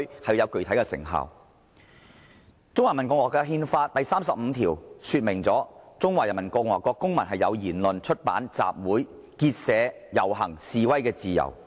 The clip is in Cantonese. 《中華人民共和國憲法》第三十五條訂明："中華人民共和國公民有言論、出版、集會、結社、游行、示威的自由。